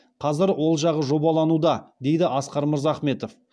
қазір ол жағы жобалануда дейді асқар мырзахметов